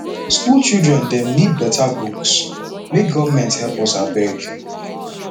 school children dem need better books make government help us abeg